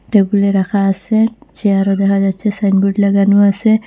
টেবিলে রাখা আসে চেয়ার ও দেখা যাচ্ছে সাইনবোর্ড লাগানো আসে।